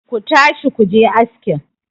ku tashi ku je askin!